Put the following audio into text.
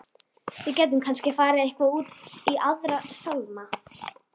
Við gætum kannski farið eitthvað út í Aðra sálma.